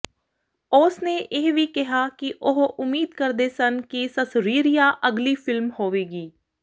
ਉਸ ਨੇ ਇਹ ਵੀ ਕਿਹਾ ਕਿ ਉਹ ਉਮੀਦ ਕਰਦੇ ਸਨ ਕਿ ਸਸਰੀਰੀਆ ਅਗਲੀ ਫ਼ਿਲਮ ਹੋਵੇਗੀ